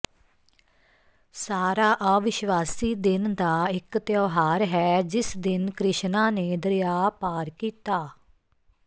ਸਾਰਾ ਅਵਿਸ਼ਵਾਸੀ ਦਿਨ ਦਾ ਇਕ ਤਿਉਹਾਰ ਹੈ ਜਿਸ ਦਿਨ ਕ੍ਰਿਸ਼ਨਾ ਨੇ ਦਰਿਆ ਪਾਰ ਕੀਤਾ